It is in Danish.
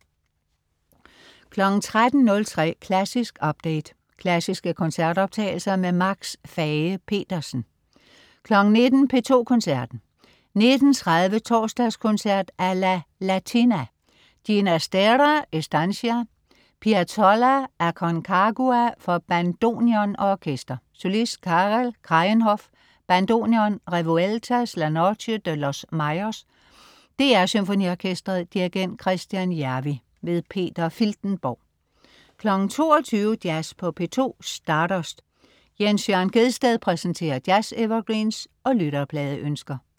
13.03 Klassisk update. Klassiske koncertoptagelser. Max Fage-Pedersen 19.00 P2 Koncerten. 19.30 Torsdagskoncert a la latina. Ginastera: Estancia. Piazzolla: Aconcagua, for bandoneon og orkester. Solist: Carel Kraayenhof, bandoneon. Revueltas: La noche de los Mayas. DR SymfoniOrkestret. Dirigent: Kristjan Järvi. Peter Filtenborg 22.00 Jazz på P2. Stardust. Jens Jørn Gjedsted præsenterer jazz-evergreens og lytterpladeønsker